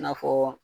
I n'a fɔ